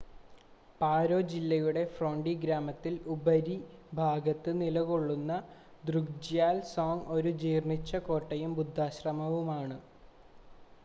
പാരോ ജില്ലയുടെ ഫോണ്ടി ഗ്രാമത്തിൽ ഉപരിഭാഗത്ത് നിലകൊള്ളുന്ന ദ്രുക്ജ്യാൽ സോങ് ഒരു ജീർണ്ണിച്ച കോട്ടയും ബുദ്ധാശ്രമവുമാണ്